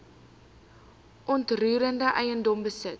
onroerende eiendom besit